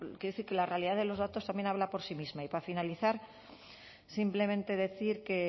quiero decir que la realidad de los datos también habla por sí misma y para finalizar simplemente decir que